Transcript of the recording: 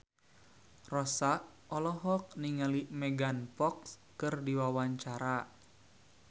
Rossa olohok ningali Megan Fox keur diwawancara